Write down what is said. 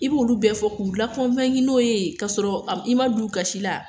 I b'olu bɛɛ fɔ k'u lakɔnki n'o ye k'a sɔrɔ i ma d'u gasi la